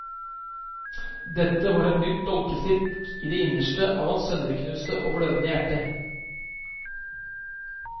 Dette var et nytt dolkestikk i det innerste av hans sønderknuste og blødende hjerte.